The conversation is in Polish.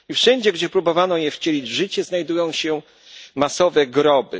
I wszędzie, gdzie próbowano je wcielić życie, znajdują się masowe groby.